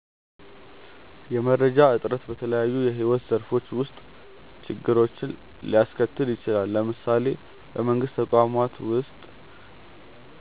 የመረጃ እጥረት በተለያዩ የሕይወት ዘርፎች ውስጥ ችግሮችን ሊያስከትል ይችላል። ለምሳሌ በመንግስት ተቋማት ውስጥ